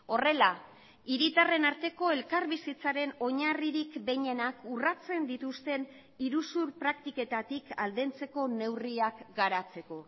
horrela hiritarren arteko elkarbizitzaren oinarririk behinenak urratzen dituzten iruzur praktiketatik aldentzeko neurriak garatzeko